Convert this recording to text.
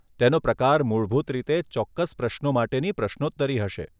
તેનો પ્રકાર મૂળભૂત રીતે ચોક્કસ પ્રશ્નો માટેની પ્રશ્નોત્તરી હશે.